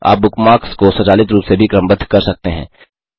आप बुकमार्क्स को स्वचालित रूप से भी क्रमबद्ध कर सकते हैं